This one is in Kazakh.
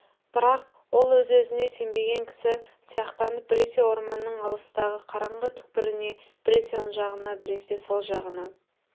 бірақ ол өзіне өзі сенбеген кісі сияқтанып біресе орманның алыстағы қараңғы түкпіріне біресе оң жағына біресе сол жағына